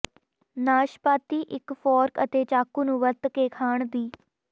ਨਾਸ਼ਪਾਤੀ ਇਕ ਫੋਰਕ ਅਤੇ ਚਾਕੂ ਨੂੰ ਵਰਤ ਕੇ ਖਾਣ ਦੀ